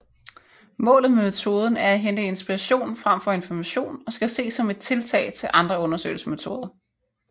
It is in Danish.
Målet med metoden er at indhente inspiration frem for information og skal ses som et tillæg til andre undersøgelsesmetoder